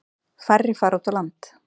Færri fara út á land.